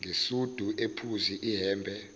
ngesudi ephuzi ihhembe